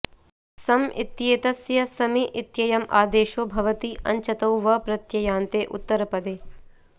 सम् इत्येतस्य समि इत्ययम् आदेशो भवति अञ्चतौ वप्रत्ययन्ते उत्तरपदे